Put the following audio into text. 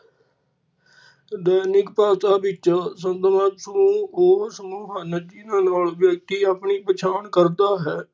ਦੈਨਿਕ ਭਾਸ਼ਾ ਵਿੱਚ ਸਦਵੰਸ਼ ਨੂੰ ਓ ਸਮੂਹ ਹਨ ਜਿਨਾਂ ਨਾਲ ਵਿਅਕਤੀ ਆਪਣੀ ਪਛਾਣ ਕਰਦਾ ਹੈ।